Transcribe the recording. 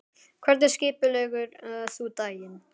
Hvernig skipuleggur þú daginn?